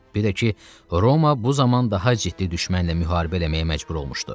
Bir də ki, Roma bu zaman daha ciddi düşmənlə müharibə eləməyə məcbur olmuşdu.